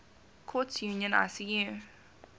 courts union icu